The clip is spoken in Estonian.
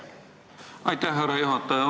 Aitäh, härra juhataja!